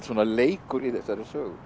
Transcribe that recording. leikur í þessari sögu